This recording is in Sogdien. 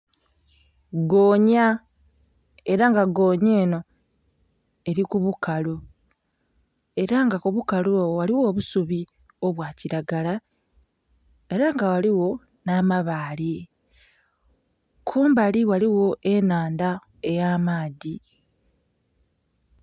Goonhya era nga goonhya enho eri ku bukalu era nga kubukalu obwo ghaligho obusubi obwa kilagala era nga ghaligho nha mabaale, kumbali ghaligho enhandha eya maadhi.